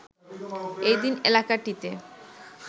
এই দিন এলাকাটিতে